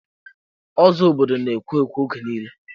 Ụzọ obodo na-ekwo ekwo oge nille.